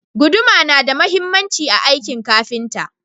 Guduma na da mahhimanci a akin kafinta